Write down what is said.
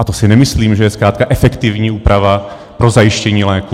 A to si nemyslím, že je zkrátka efektivní úprava pro zajištění léku.